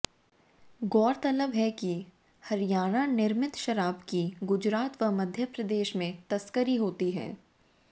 गौरतलब है कि हरियाणा निर्मित शराब की गुजरात व मध्यप्रदेश में तस्करी होती है